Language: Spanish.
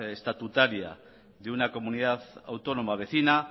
estatutaria de una comunidad autónoma vecina